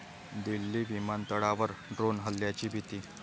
दिल्ली विमानतळावर ड्रोन हल्ल्याची भीती